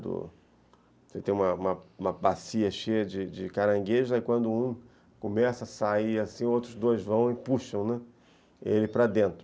Você tem uma uma bacia cheia de caranguejos, aí quando um começa a sair assim, outros dois vão e puxam, né, ele para dentro.